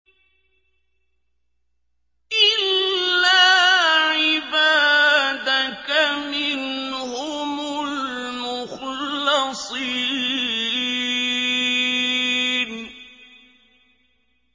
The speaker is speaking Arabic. إِلَّا عِبَادَكَ مِنْهُمُ الْمُخْلَصِينَ